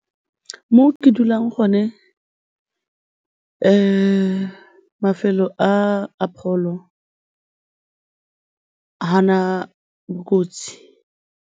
Mo ke dulang gone mafelo a pholo, ga a na bokotsi.